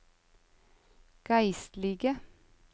geistlige